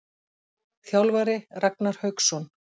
Þjálfari: Ragnar Hauksson.